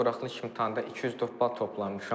Buraxılış imtahanında 204 bal toplamışam.